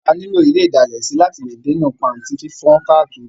A ní lò ile ìdalẹ̀ sí láti lè dènà pàntí fífán káàkiri.